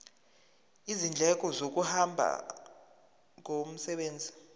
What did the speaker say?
izindleko zokuhamba ngomsebenzi